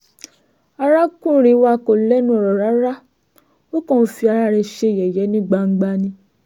arákùnrin wa kò lẹ́nu ọ̀rọ̀ rárá ó kàn ń fi ara rẹ̀ ṣe yẹ̀yẹ́ ní gbangba ni